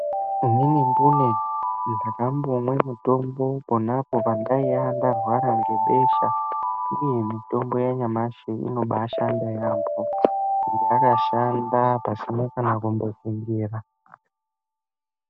Inini mbune ndakambomwe mutombo ponapo pandaiya ndarware ngebesha. Iii mitombo yanyashi inobashanda yaampho yakashanda pasina kana kumbofungira.